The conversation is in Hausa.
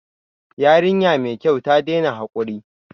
Yarinya mai kyau, ta daina hakuri